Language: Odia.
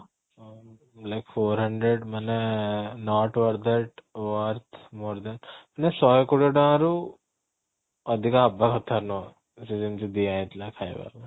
ଆଉ like four hundred ମାନେ not worth that worth more that ମାନେ ଶହେ କୋଡିଏ ଟଙ୍କାରୁ ଅଧିକ ହବା କଥା ନୁହଁ ସିଏ ଯେମିତି ଦିଆ ହେଇଥିଲା ଖାଇବା ପାଇଁ